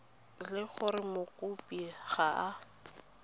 le gore mokopi ga a